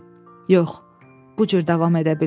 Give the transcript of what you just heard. Yox, bu cür davam edə bilməz.